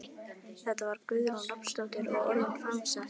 Þetta var Guðrún Rafnsdóttir og orðin framsett.